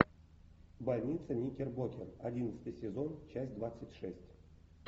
больница никербокер одиннадцатый сезон часть двадцать шесть